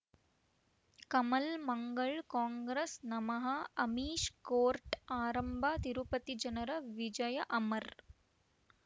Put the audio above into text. ಕಮಲ್ ಮಂಗಳ್ ಕಾಂಗ್ರೆಸ್ ನಮಃ ಅಮಿಷ್ ಕೋರ್ಟ್ ಆರಂಭ ತಿರುಪತಿ ಜನರ ವಿಜಯ ಅಮರ್